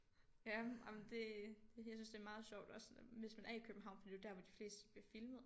Ja jamen det det jeg synes det er meget sjovt også sådan hvis man er i København for det er jo der hvor de fleste bliver filmet